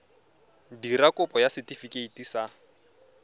dira kopo ya setefikeiti sa